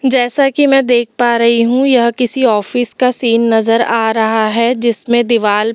जैसा कि मैं देख पा रही हूँ यह किसी ऑफिस का सीन नजर आ रहा है जिसमें दीवाल पर।